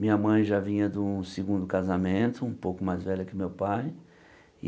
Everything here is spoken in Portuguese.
Minha mãe já vinha de um segundo casamento, um pouco mais velha que o meu pai.